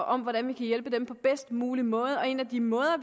om hvordan vi kan hjælpe dem på bedst mulig måde og en af de måder